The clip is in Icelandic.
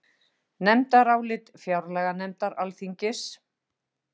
Nefndarálit fjárlaganefndar Alþingis